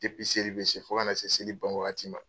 Depi seli bɛ se fo ka na se seli ban wagati ma.